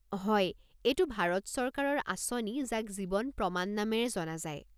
হয়, এইটো ভাৰত চৰকাৰৰ আঁচনি যাক জীৱন প্ৰমাণ নামেৰে জনা যায়।